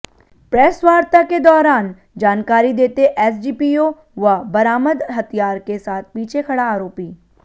प्रेसवार्ता के दौरान जानकारी देते एसडीपीओ व बरामद हथियार के साथ पीछे खड़ा आरोपी